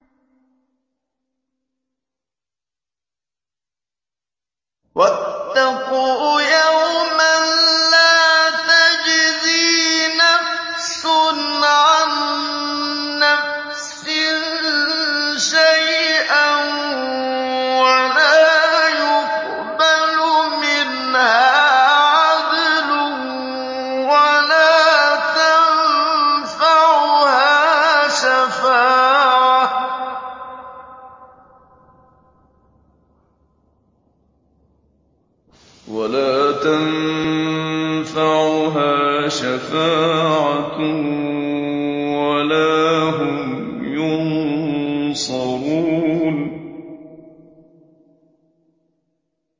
وَاتَّقُوا يَوْمًا لَّا تَجْزِي نَفْسٌ عَن نَّفْسٍ شَيْئًا وَلَا يُقْبَلُ مِنْهَا عَدْلٌ وَلَا تَنفَعُهَا شَفَاعَةٌ وَلَا هُمْ يُنصَرُونَ